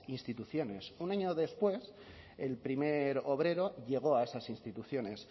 instituciones un año después el primer obrero llegó a esas instituciones